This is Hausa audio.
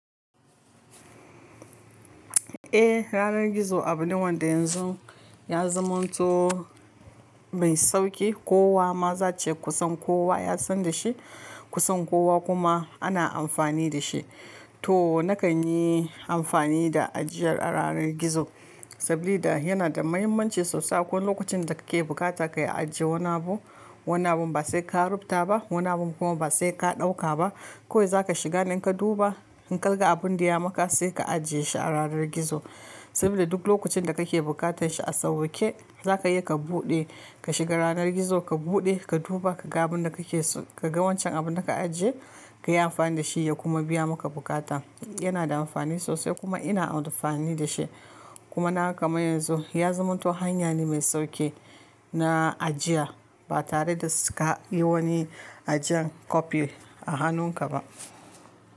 Eh, yanar gizo abu ne wanda yanzu ya zama to mai sauƙi. Kowa ma za ce kusan kowa ya san da shi, kusan kowa kuma ana amfani da shi. To nakan yi amfani da ajiyar a yanar gizo saboda yana da muhimmanci sosai. Ko lokacin da kake bukata ka yi ajiye wani abu, wani abun ba sai ka rubuta ba, wani abun kuma ba sai ka ɗauka ba. Kawai za ka shiga ne in ka duba, in kalga abun da ya maka sai ka ajiye shi a ranar gizo. Saboda duk lokacin da kake buƙatar shi a sawwaƙe, za ka iya ka buɗe ka shiga yanar gizo ka buɗe ka duba ka ga abun da kake so, ka ga wancan abun da ka ajiye, ka yi amfani da shi ya kuma biya maka buƙata. Yana da amfani sosai kuma ina amfani da shi. Kuma naga kaman yanzu ya zamanto hanya ne mai sauƙi na ajiya ba tare da suka yi wani ajiyan copy a hannunka ba.